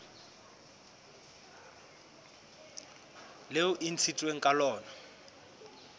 leo e ntshitsweng ka lona